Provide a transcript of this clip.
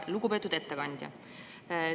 Lugupeetud ettekandja!